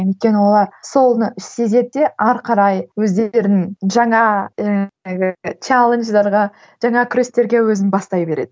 өйткені олар соны іші сезеді де ары қарай өздерінің жаңа ііі челлендждерге жаңа күрестерге өзін бастай береді